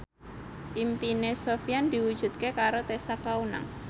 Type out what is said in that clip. impine Sofyan diwujudke karo Tessa Kaunang